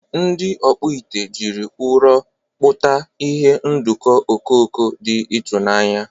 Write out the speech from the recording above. Ndị ọkpụ ite jiri ụrọ kpụta ihe ndọkọ okoko dị ịtụnanya.